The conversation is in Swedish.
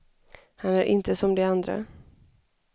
Han är inte som de andra.